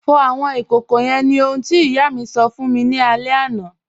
Fọ̀ awọn ikókó yẹ́n ni ohun tí iyà mi sọ̀ fún mi ni alẹ̀ àná.